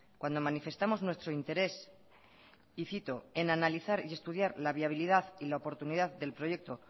cuando manifestamos nuestro interés y cito en analizar y estudiar la viabilidad y la oportunidad del proyecto